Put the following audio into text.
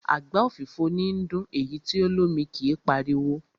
Àgbá òfìfo níí dún, èyí tí o lómi kí páriwo.